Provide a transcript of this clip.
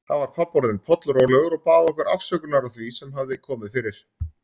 Þá var pabbi orðinn pollrólegur og bað okkur afsökunar á því sem hafði komið fyrir.